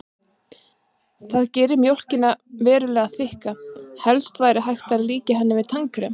Það gerir mjólkina verulega þykka, helst væri hægt að líkja henni við tannkrem.